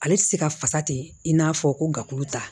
Ale tɛ se ka fasa ten i n'a fɔ ko gafuru ta